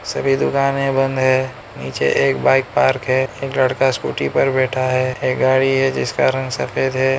सभी दुकानें बंद है नीचे एक बाइक पार्क है एक लड़का स्कूटी पर बैठा है एक गाड़ी है जिसका रंग सफेद है।